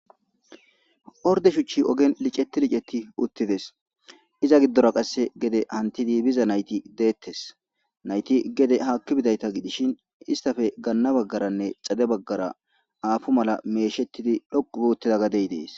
Orde shuchchi ogen liceti licetti uttides iza giddora qasse gede hantidi biza nayti deettes nayti gede haakki bidayta gidishin istafe ganna baggaranne xade baggara aafu mala meeshettidi dhoqu buuttida gadey dees